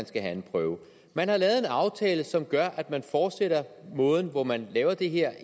skal være en prøve man har lavet en aftale som gør at man fortsætter måden hvorpå man laver det her